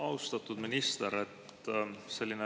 Austatud minister!